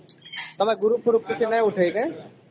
ତମ group କିଛି ନାହିଁ ଉଠେଇକେ ?